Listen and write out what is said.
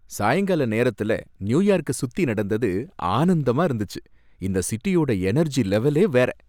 சாயங்கால நேரத்துல நியூயார்க்கசுத்தி நடந்தது ஆனந்தமா இருந்துச்சு. இந்த சிட்டியோட எனர்ஜி லெவலே வேற.